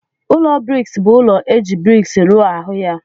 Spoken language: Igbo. Ụlọ briks bu ụlọ eji briks rụọ ahu ya.